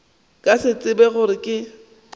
ka se tsebe gore ke